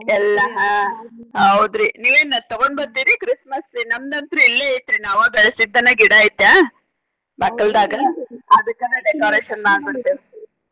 ಎಲ್ಲಾ ಆಹ್ ಹೌದ್ರಿ ನಿವೇನ ತಗೊಂಡ ಬರ್ತೆರಿ Christmas tree ನಮ್ದ ಅಂತ್ರು ಇಲ್ಲೆ ಐತ್ರಿ ನಾವ ಬೆಳಸಿದ್ದನ ಗಿಡಾ ಐತ್ಯಾ ಬಾಗಲ್ದಾಗ ಅದಕ್ಕನ decoration ಮಾಡ್ಬಿಡ್ತೇವಿ.